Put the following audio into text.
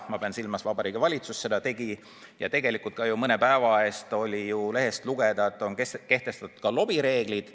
Ma pean silmas, et Vabariigi Valitsus seda tegi, ja tegelikult oli mõne päeva eest lehest lugeda, et on kehtestatud ka lobireeglid.